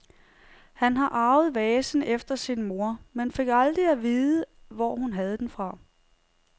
Han har arvet vasen efter sin mor, men fik aldrig at vide hvor hun havde den fra.